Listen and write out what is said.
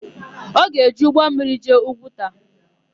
Ọ ga-eji ụgbọmmiri jee Ugwuta?